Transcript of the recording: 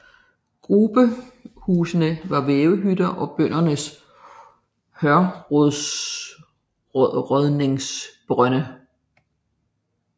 Grubehusene var vævehytter og brøndene hørrådningsbrønde